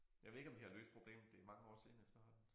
Jeg ved ikke om de har løst problemet det mange år siden efterhånden